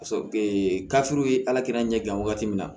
gafew ye ala kelen ɲɛ dilan wagati min na